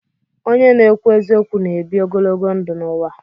Onye na-ekwu eziokwu na-ebi ogologo ndụ n'ụwa